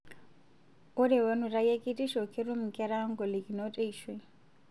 Ore wenutai ekitisho, ketum nkera ngolikinot eishoi